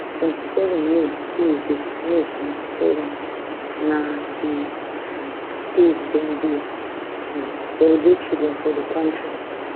twenty-seven may tuesday may twenty-seven na di um day dem dey um celebrate children for di kontri